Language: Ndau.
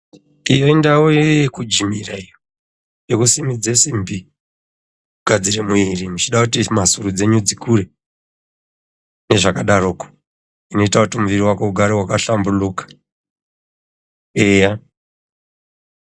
Iyo indau yekujimira iyo, yekusimudze simbi, kugadzire mwiri muchide kuti mhasuru dzenyu dzikure nezvakadaroko, inoite kuti mwiri wako ugare wakahlambuluka eya.